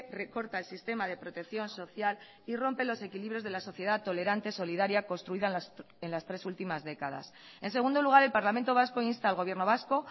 recorta el sistema de protección social y rompe los equilibrios de la sociedad tolerante solidaria construida en las tres últimas décadas en segundo lugar el parlamento vasco insta al gobierno vasco